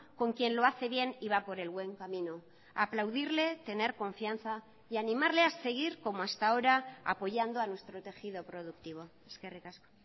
con quien lo hace bien y va por el buen camino aplaudirle tener confianza y animarle a seguir como hasta ahora apoyando a nuestro tejido productivo eskerrik asko